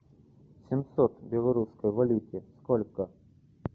семьсот в белорусской валюте сколько